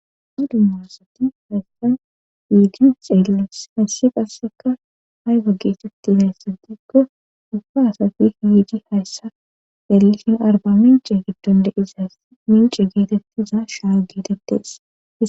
A dummasati hayssa yiidi xeellis hayssi qasseka hay wa geetetti hayssatikko ufa asati hiidi hayssa xeellishin arba mince giddon deizas mince geetettiza shaa geetettes